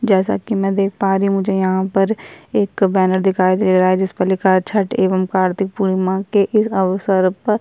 जैसा की मैं देख पा रही हूँ मुझे यहाँ पर एक बैनर दिखाई दे रहा है जिस पर लिखा है छठ एवं कार्तीक पूर्णिमा के इस अवसर पर --